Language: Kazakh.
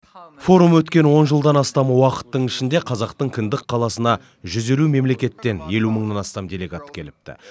форум өткен он жылдан астам уақыттың ішінде қазақтың кіндік қаласына жүз елу мемлекеттен елу мыңнан астам делегат келіпті